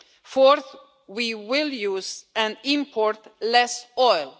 Fourth, we will use and import less oil.